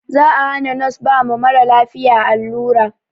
Za a hana nos ba ma maralafiya allura